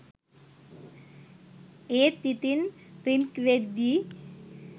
ඒත් ඉතින් රින්ග් වෙද්දි